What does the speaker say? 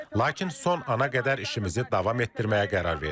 Lakin son ana qədər işimizi davam etdirməyə qərar verdik.